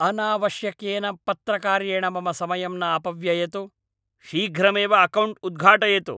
अनावश्यकेन पत्रकार्येण मम समयं न अपव्ययतु। शीघ्रमेव अकौण्ट् उद्घाटयतु!